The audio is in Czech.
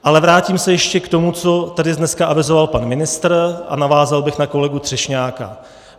Ale vrátím se ještě k tomu, co tady dneska avizoval pan ministr, a navázal bych na kolegu Třešňáka.